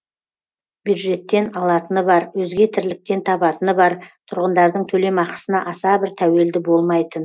бюджеттен алатыны бар өзге тірліктен табатыны бар тұрғындардың төлемақысына аса бір тәуелді болмайтын